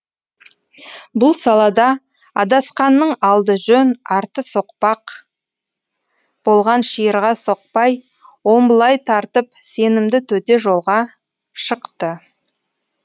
бұл салада адасқанның алды жөн арты соқпақ болған шиырға соқпай омбылай тартып сенімді төте жолға шықты